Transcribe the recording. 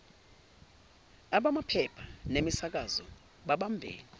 abamaphepha nemisakazo bebambe